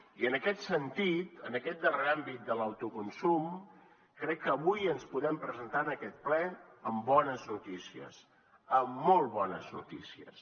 i en aquest sentit en aquest darrer àmbit de l’autoconsum crec que avui ens podem presentar en aquest ple amb bones notícies amb molt bones noticies